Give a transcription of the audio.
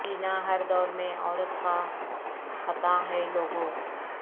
جینا ہر دور میں عورت کا خطا ہے لوگو